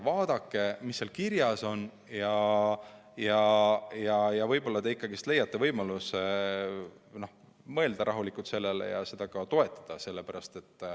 Vaadake, mis seal kirjas on, ja võib-olla te ikkagi leiate võimaluse mõelda rahulikult sellele ja seda ka toetada.